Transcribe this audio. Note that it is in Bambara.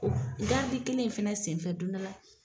Gardi kelen in fana senfɛ don dɔ la